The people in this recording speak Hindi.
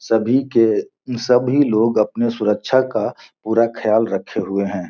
सभी के सभी लोग अपनी सुरक्षा का पूरा ख्याल रखे हुए हैं।